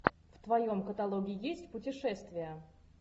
в твоем каталоге есть путешествия